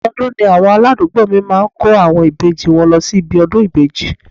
Ọdọọdún ni àwọn aládùúgbò mi máa ń kó àwọn ìbejì wọn lọ síbi ọdún ìbejì